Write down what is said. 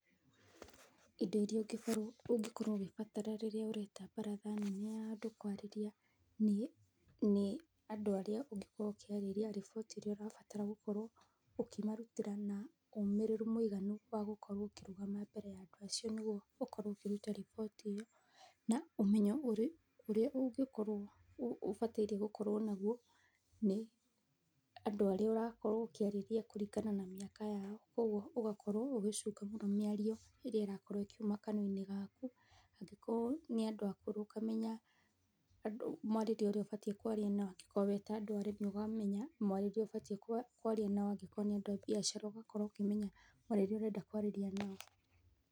Indo irĩa ũngĩkorwo ũkĩbatara rĩrĩa ũreta baratha nene ya andũ kwarĩrĩa nĩ, andũ arĩa ũngĩkorwo ũkĩarĩria riboti ĩrĩa ũrabatara gũkorwo ũkĩmarutĩra na ũmĩrĩru mũiganu wagũkorwo ũkĩrũgama mbere ya andũ acio nĩguo ũkorwo ũkĩruta riboti ĩyo na ũmenyo ũrĩa ũngĩkorwo ũbatĩirie gũkorwo naguo, nĩ andũ arĩa ũrakorwo ũkĩaria kũringana na mĩaka yao, koguo ũgakorwo ũgĩcunga mĩario ĩrakorwo ĩkiuma kanyuanĩ gaku. Angĩkorwo nĩa ndũ akũrũ mwarĩrie ũrĩa ũbataire kwaria nao, angĩkorwo nĩ andũ a biacara ũkamenya mwarĩrie ũrenda kwarĩria nao.